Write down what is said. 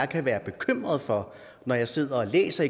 kan være bekymret for når jeg sidder og læser